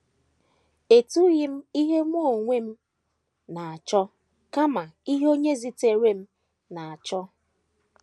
Etughị m ihe Mụ onwe m na - achọ, kama ihe Onye zitere m na - achọ. ”